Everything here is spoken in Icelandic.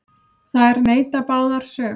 Þær neita báðar sök.